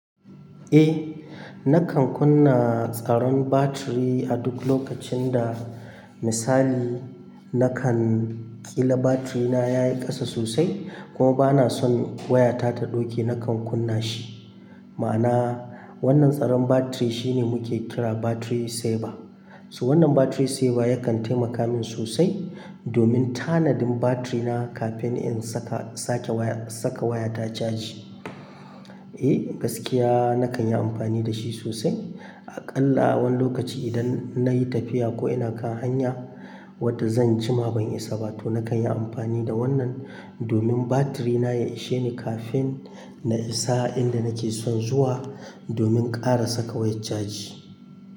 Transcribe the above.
Eh, nakan kunna tsaron batiri a duk lokacin da misali nakan ƙila batirina ya yi ƙasa sosai kuma bana son wayata ta ɗauke nakan kunna shi. Ma'ana wannan tsaron batiri shi ne muke kira battery saver. To wannan battery sever ya kan taimaka min sosai domin tanadin battery na kafin in saka wayana chaji. Eh, gaskiya nakan yi amfani da shi sosai. Aƙalla wani lokaci idan na yi tafiya ko ina kan hanya wadda zan jima ban isa ba to nakan yi amfani da wannan domin batirina ya ishe ni kafin na isa inda nake son zuwa domin ƙara saka wayar caji.